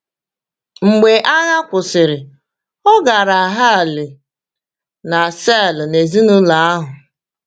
Mgbe agha kwụsịrị, ọ gara Halle na Saale na ezinụlọ ahụ.